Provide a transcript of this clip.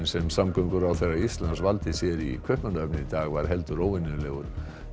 sem samgönguráðherra Íslands valdi sér í Kaupmannahöfn í dag var heldur óvenjulegur